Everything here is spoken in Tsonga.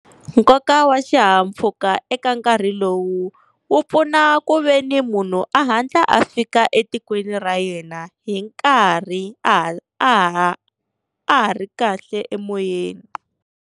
Nkoka wa xihahampfhuka eka nkarhi lowu, wu pfuna ku veni munhu a hatla a fika etikweni ra yena hi nkarhi a ha a ha a ha ri kahle emoyeni.